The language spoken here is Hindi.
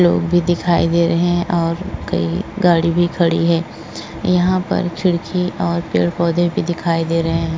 लोग भी दिखाई दे रहे हैं और कई गाड़ी भी खड़ी हैं। यहां पर खिड़की और पेड़ पौधे भी दिखाई दे रहे हैं।